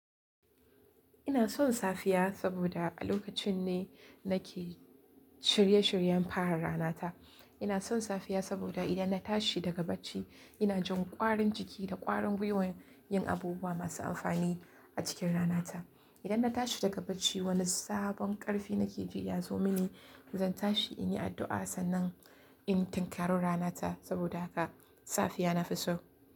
Ina son safiya saboda a lokacin ne nake shirye shiryen fara ranata. Ina son safiya saboda idan na tashi daga bacci ina jin ƙwarin jiki da ƙwarin wuyan yin abubuwa masu amfani a cikin ranata. Idan na tashi daga bacci wani sabon ƙarfi na ke ji ya zo mini, zan tashi in yi addu'a sannan in tinkarar ranata saboda haka safiya na fi so.